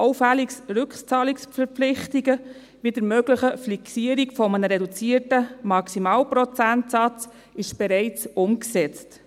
Allfällige Rückzahlungsverpflichtungen, wie die mögliche Fixierung eines reduzierten Maximalprozentsatzes, sind bereits umgesetzt.